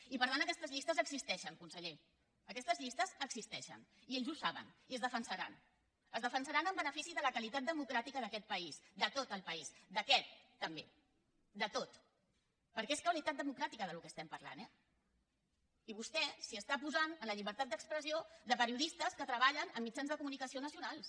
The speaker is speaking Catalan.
i per tant aquestes llistes existeixen conseller aquestes llistes existeixen i ells ho saben i es defensaran es defen·saran en benefici de la qualitat democràtica d’aquest país de tot el país d’aquest també de tot perquè és de qualitat democràtica del que estem parlant eh i vostè s’hi està posant en la llibertat d’expressió de perio·distes que treballen en mitjans de comunicació nacio·nals